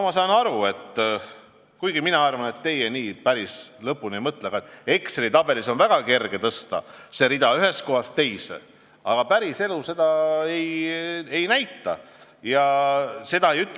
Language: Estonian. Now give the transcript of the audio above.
Ma saan aru – kuigi ma arvan, et teie päris lõpuni nii ei mõtle –, et Exceli tabelis on väga kerge tõsta seda rida ühest kohast teise, aga päriselus see nii ei ole.